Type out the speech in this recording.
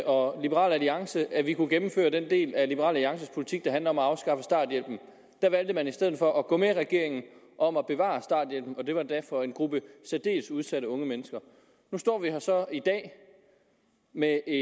og liberal alliance at vi kunne gennemføre den del af liberal alliances politik der handler om at afskaffe starthjælpen der valgte man i stedet for at gå med regeringen om at bevare starthjælpen og det var endda for en gruppe særdeles udsatte unge mennesker nu står vi så her i dag med et